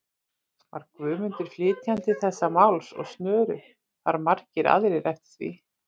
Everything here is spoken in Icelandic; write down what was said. Var Guðmundur flytjandi þessa máls, og snöru þar margir aðrir eftir því.